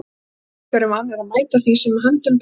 Við Íslendingar erum vanir að mæta því sem að höndum ber.